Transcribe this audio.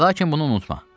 Lakin bunu unutma.